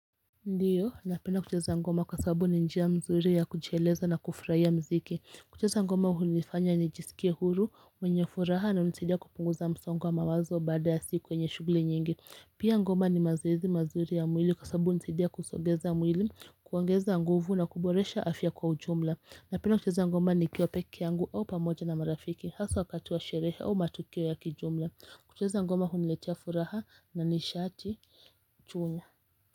Ndiyo na pinda kucheza ngoma kwa sababu ni njia mzuri ya kujieleza na kufurahia mziki kucheza ngoma hunifanya nijisikie huru mwenye furaha na hunisidia kupunguza msongowa mawazo baada ya siku yenye shughuli nyingi Pia ngoma ni mazoezi mazuri ya mwili kwa sabanu hunisidia kusogeza mwili kuongeza nguvu na kuboresha afya kwa ujumla na pindakucheza ngoma nikiwa peke yangu au pamoja na marafiki hasa wakat wa sherehe au matukio ya kijumla kucheza ngoma huniletia furaha na nishati chanya.